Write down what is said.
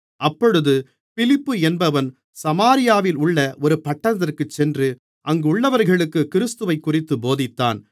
அப்பொழுது பிலிப்பு என்பவன் சமாரியாவிலுள்ள ஒரு பட்டணத்திற்குச் சென்று அங்குள்ளவர்களுக்குக் கிறிஸ்துவைக்குறித்துப் போதித்தான்